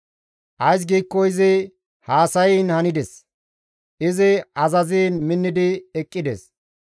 Ays giikko izi haasayiin handes; izi azaziin minnidi eqqides.